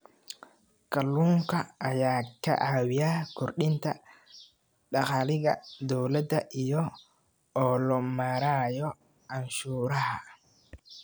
Kalluunka ayaa ka caawiya kordhinta dakhliga dowladda iyada oo loo marayo canshuuraha.